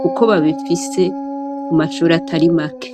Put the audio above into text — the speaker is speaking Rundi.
kuko babifise mumashure atari make.